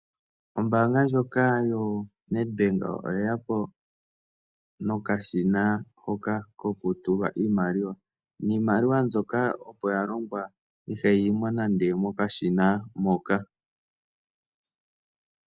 Ombaanga ndjoka yoNedbank oyeya po nokashina hoka kokutulwa iimaliwa, niimaliwa mbyoka opo yalongwa iha yiyi mo nande mokashina moka.